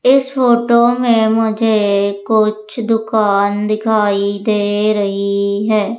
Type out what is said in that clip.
इस फोटो में मुझे कुछ दुकान दिखाई दे रही है।